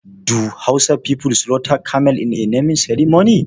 Do hausa people slaughter camel in a naming ceremony?